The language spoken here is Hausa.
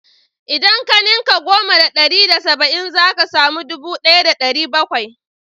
Idan ka ninka goma da ɗari da saba'in zaka samu ɗubu ɗaya da ɗari bakwai